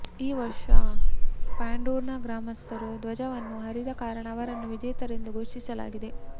ಈ ವರ್ಷ ಪಾಂಡೂರ್ಣ ಗ್ರಾಮಸ್ಥರು ಧ್ವಜವನ್ನು ಹರಿದ ಕಾರಣ ಅವರನ್ನು ವಿಜೇತರೆಂದು ಘೋಷಿಸಲಾಗಿದೆ